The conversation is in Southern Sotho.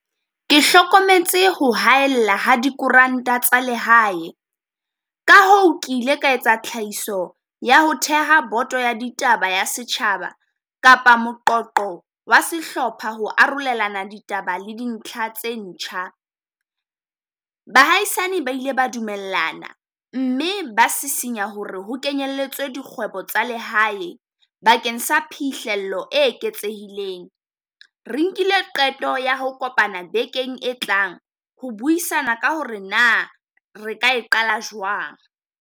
Ke hlokometse hore haella ha dikoranta tsa lehae, ka hoo ke ile ka etsa tlhahiso ya ho theha boto ya ditaba ya setjhaba, kapa moqoqo wa sehlopha ho arolelana ditaba le dintlha tse ntjha. Bahaisane ba ile ba dumellana, mme ba sisinya hore ho kenyelletswa dikgwebo tsa lehae bakeng sa phihlello e eketsehileng. Re nkile qeto ya ho kopana bekeng e tlang ho buisana ka hore na re ka e qala jwang.